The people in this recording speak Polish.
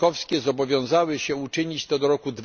członkowskie zobowiązały się to uczynić do roku